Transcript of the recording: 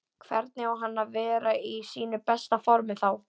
Hvernig á hann að vera í sínu besta formi þá?